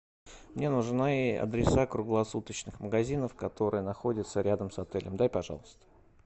мне нужны адреса круглосуточных магазинов которые находятся рядом с отелем дай пожалуйста